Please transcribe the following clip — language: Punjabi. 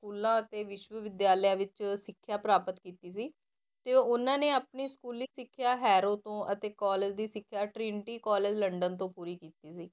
ਸਕੂਲਾਂ ਅਤੇ ਵਿਸ਼ਵਵਿਦਿਆਲਿਆ ਵਿੱਚ ਸਿੱਖਿਆ ਪ੍ਰਾਪਤ ਕੀਤੀ ਸੀ, ਤੇ ਉਹਨਾਂ ਨੇ ਆਪਣੀ ਸਕੂਲੀ ਸਿੱਖਿਆ ਹੈਰੋ ਤੋਂ, ਅਤੇ college ਦੀ ਸਿੱਖਿਆ ਟਰਿੰਟੀ college ਲੰਡਨ ਤੋਂ ਪੂਰੀ ਕੀਤੀ ਸੀ।